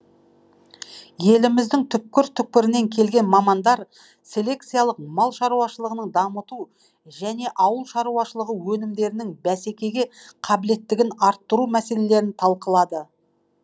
еліміздің түкпір түкпірінен келген мамандар селекциялық мал шаруашылығын дамыту және ауыл шаруашылығы өнімдерінің бәсекеге қабілеттілігін арттыру мәселелерін талқылады